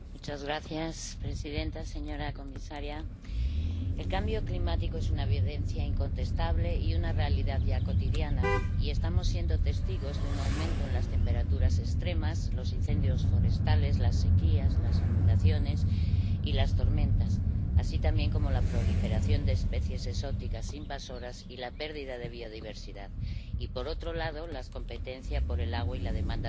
Señora presidenta, señora comisaria, el cambio climático es una evidencia incontestable y una realidad ya cotidiana. Y estamos siendo testigos de un aumento en las temperaturas extremas, los incendios forestales, las sequías, las inundaciones y las tormentas, así como también de la proliferación de especies exóticas invasoras y la pérdida de biodiversidad, y, por otro lado, de la competencia por el agua y la demanda de energía.